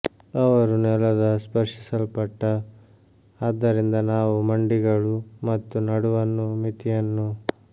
ಅವರು ನೆಲದ ಸ್ಪರ್ಶಿಸಲ್ಪಟ್ಟ ಆದ್ದರಿಂದ ನಾವು ಮಂಡಿಗಳು ಮತ್ತು ನಡುವನ್ನು ಮಿತಿಯನ್ನು